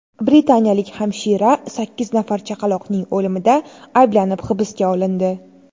Britaniyalik hamshira sakkiz nafar chaqaloqning o‘limida ayblanib hibsga olindi.